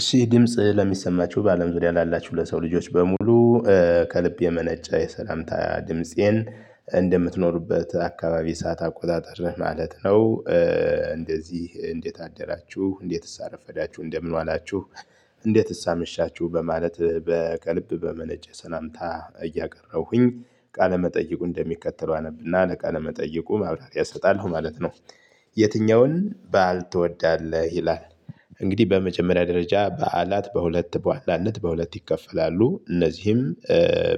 እሺ ድምጽ ለሚሰማችሁ በአለም ዙሪያ ላላችሁ ለሰው ልጆች በሙሉ ከልብ የመነጨ የሰላምታ ድምፄን እንደምትኖሩበት አካባቢ ሰዓት አቆጣጠር ነህ ማለት ነው እንደዚህ እንዴት አደራችሁ እንዴትስ አረፈዳችሁ እንደምን ዋላችሁ። እንዴትስ አመሻችሁ በማለት በከልብ በመነጨ ሰላምታ እያቀረብሁኝ ቃለመጠየቁ እንደሚከተለው አነብና ለቃለመጠየቁ ማብራሪያ እሰጣለሁ ማለት ነው። የትኛውን በዓል ትወዳለህ ይላል? እንግዲህ በመጀመሪያ ደረጃ በዓላት በሁለት በዋናነት በሁለት ይከፈላሉ እነዚህም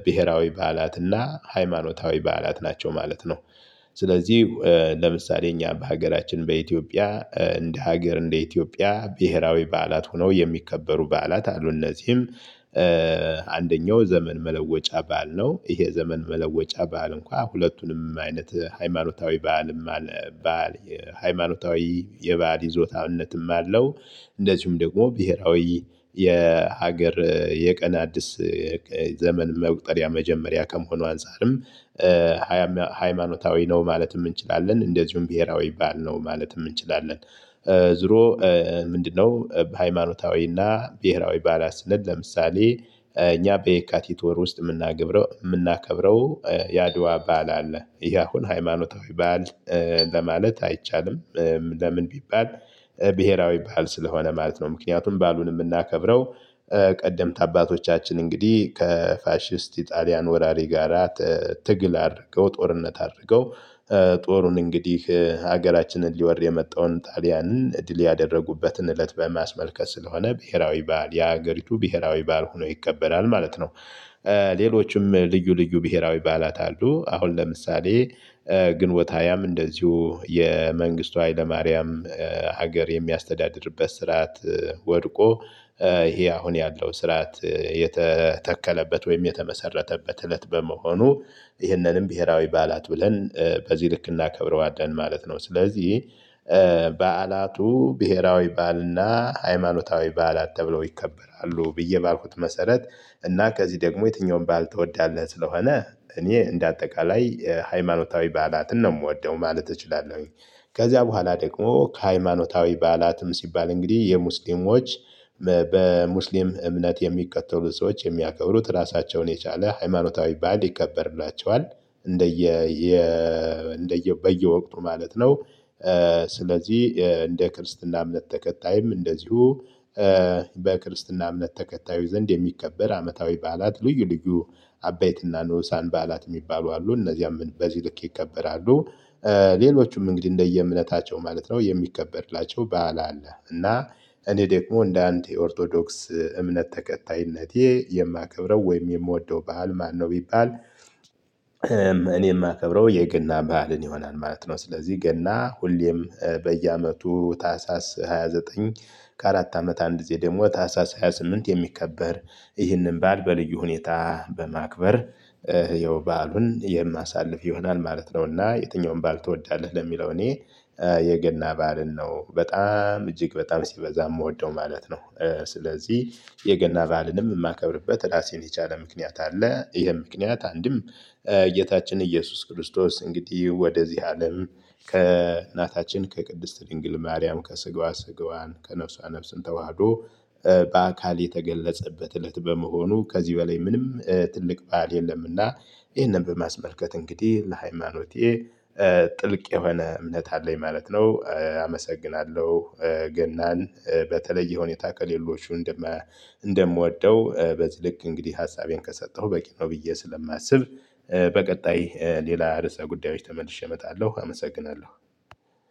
ብሄራዊ በዓላት እና ሃይማኖታዊ በዓላት ናቸው ማለት ነው። ስለዚህ ለምሳሌ እኛ በሀገራችን በኢትዮጵያ እንደ ሀገር እንደ ኢትዮጵያ ብሄራዊ በዓላት ሆነው የሚከበሩ በዓላት አሉ። እነዚህም አንደኛው ዘመን መለወጫ በዓል ነው። ይሄ ዘመን መለወጫ በዓል እንኳን ሁለቱንም አይነት ሃይማኖታዊ በዓልም አለ በዓል ሃይማኖታዊ የበአል ይዞታነትም አለው። እንደዚሁም ደግሞ ብሄራዊ የሀገር የቀን አዲስ ዘመን መቁጠሪያ መጀመሪያ ከመሆኑ አንፃርም ሃይማኖታዊ ነው ማለትም እንችላለን እንደዚሁም ብሄራዊ በዓል ነው ማለትም እንችላለን። ዙሮ ምንድነው? በሃይማኖታዊና ብሄራዊ በዓላት ስንል ለምሳሌ እኛ በየካቲት ወር ውስጥ የምናገገብረው የምናከብረው የአድዋ ባል አለ። ይሄ አሁን ሃይማኖታዊ ባል ለማለት አይቻልም። ለምን ቢባል? ብሄራዊ በዓል ስለሆነ ማለት ነው ምክንያቱም በዓሉን የምናከብረው ቀደምት አባቶቻችን እንግዲህ ከፋሺስት ኢጣሊያን ወራሪ ጋራ ትግል አድርገው ጦርነት አድርገው ጦሩን እንግዲህ ሀገራችንን ሊወር የመጣውን ጣሊያንን ድል ያደረጉበትን እለት በማስመልከት ስለሆነ ብሄራዊ በዓል የሀገሪቱ ብሄራዊ በዓል ሆኖ ይከበላል ማለት ነው። ሌሎችም ልዩ ልዩ ብሄራዊ በዓላት አሉ። አሁን ለምሳሌ ግንቦት ሃያ እንደዚሁ የመንግስቱ ኃይለማርያም ሀገር የሚያስተዳድርበት ስርዓት ወድቆ ይሄ አሁን ያለው ስርዓት የተተከለበት ወይም የተመሰረተበት እለት በመሆኑ ይህንንም ብሄራዊ በዓላት ብለን በዚህ ልክ እናከብረዋለን ማለት ነው። ስለዚህ በዓላቱ ብሄራዊ በዓልና ሃይማኖታዊ ባህላት ተብለው ይከበራሉ ብዬ ባልኩት መሰረት። እና ከዚህ ደግሞ የትኛውን በዓል ትወዳለህ? ስለሆነ እኔ እንደ አጠቃላይ ሃይማኖታዊ በዓላትን ነው የምወደው ማለት እችላለሁኝ። ከዚያ በኋላ ደግሞ ከሃይማኖታዊ በዓላትም ሲባል እንግዲህ የሙስሊሞች በሙስሊም እምነት የሚከተሉ ሰዎች የሚያከብሩት ራሳቸውን የቻለ ሃይማኖታዊ በዓል ይከበርላቸዋል። እንደየ እንደየ በየወቅቱ ማለት ነው። ስለዚህ እንደ ክርስትና እምነት ተከታይም እንደዚሁ በክርስትና እምነት ተከታዩ ዘንድ የሚከበር አመታዊ በዓላት ልዩ ልዩ አባይትና ንዑሳን በዓላት የሚባሉ አሉ እነዚያም በዚህ ልክ ይከበራሉ። ሌሎቹም እንግዲህ እንደየእምነታቸው ማለት ነው የሚከበርላቸው በዓለ አለ። እና እኔ ደግሞ እንደ አንድ የኦርቶዶክስ እምነት ተከታይነቴ የማከብረው ወይም የምወደው በዓል ማነው? ቢባል እኔ የማከብረው የገና በዓልን ይሆናል ማለት ነው። ስለዚህ ገና ሁሌም በየአመቱ ታህሳስ ሃያ ዘጠኝ ከአራት አመት አንድ ጊዜ ደግሞ ታህሳስ ሃያ ስምንት የሚከበር ይህንን በዓል በልዩ ሁኔታ በማክበር ያው በዓሉን የማሳልፍ ይሆናል ማለት ነው። እና የትኛውን በዓል ትወዳለህ? ለሚለው እኔ የገና ባልን ነው በጣም እጅግ በጣም ሲበዛ የምወደው ማለት ነው። ስለዚህ የገና በአልንም የማከብርበት ራሴን የቻለ ምክንያት አለ። ይህም ምክንያት አንድም ጌታችን ኢየሱስ ክርስቶስ እንግዲህ ወደዚህ አለም ከእናታችን ከቅድስት ድንግል ማርያም ከስጋዋ ስጋዋን ከነፍሷ ነፍስን ተዋህዶ በአካል የተገለጸበት እለት በመሆኑ ከዚህ በላይ ምንም ትልቅ በዓል የለምና። ይህንን በማስመልከት እንግዲህ ለሃይማኖቴ ጥልቅ የሆነ እምነት አለኝ ማለት ነው አመሰግናለሁ። ገናን በተለይ ሁኔታ ከሌሎቹ እንደምወደው በዚህ ልክ እንግዲህ ሀሳቤን ከሰጠሁ በቂ ነው ብዬ ስለማስብ። በቀጣይ ሌላ ርዕሰ ጉዳዮች ተመልሼ እመጣለሁ አመሰግናለሁ።